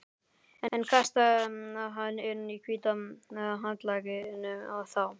En kastaði hann inn hvíta handklæðinu þá?